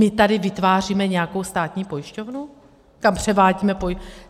My tady vytváříme nějakou státní pojišťovnu, kam převádíme?